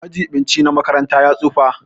Majibinci na makaranta ya tsufa.